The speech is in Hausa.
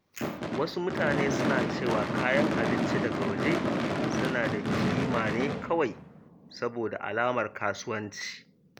Wasu mutane suna cewa kayan abinci daga waje suna da ƙima ne kawai saboda alamar kasuwanci.